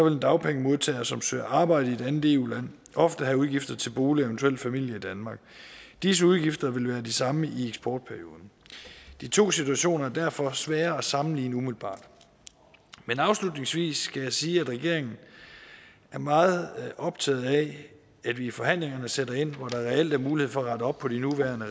en dagpengemodtager som søger arbejde i et andet eu land ofte have udgifter til bolig og eventuel familie i danmark disse udgifter vil være de samme i eksportperioden de to situationer er derfor svære at sammenligne umiddelbart men afslutningsvis skal jeg sige at regeringen er meget optaget af at vi i forhandlingerne sætter ind hvor der reelt er en mulighed for at rette op på de nuværende